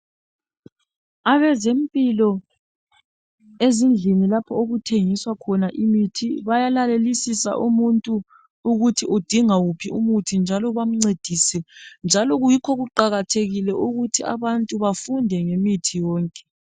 Abezempilakahle ezindlini lapho okuthengiswa khona imithi bayalalelisisa umuntu ukuthi udinga wuphi umuthi bamphathise njalo kuyikho kuqakathekile ukuthi abantu bafunde ngemithi yonke.